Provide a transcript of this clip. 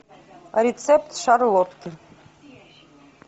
рецепт шарлотки